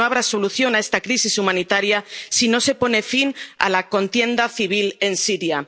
Porque no habrá solución a esta crisis humanitaria si no se pone fin a la contienda civil en